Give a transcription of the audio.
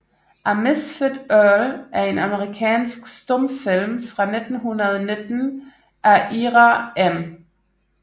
A Misfit Earl er en amerikansk stumfilm fra 1919 af Ira M